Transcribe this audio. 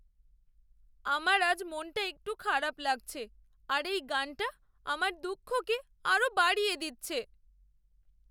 আমার আজ মনটা একটু খারাপ লাগছে আর এই গানটা আমার দুঃখকে আরও বাড়িয়ে দিচ্ছে।